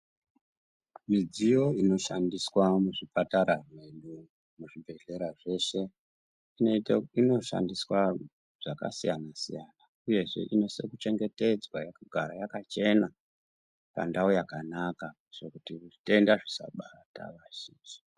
Midziyo inoshandiswa muzvipatara nemuzvibhedhlera zveshe inoita inoshandiswa zvakasiyana siyana uyezve inosisekuchengetedzwa yakagara yakachena pandau yakanaka zvekuti zvitenda zvisabata vazhinji.